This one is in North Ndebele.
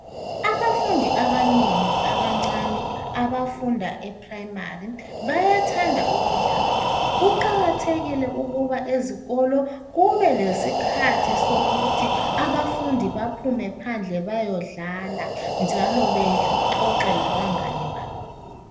Abafundi abanengi abancane abafunda ephuremari bayathanda ukudlala. Kuqakathekile ukuba ezikolo kube lesikhathi sokuthi abafundi baphume phandle bayodlala njalo bexoxe labangane babo.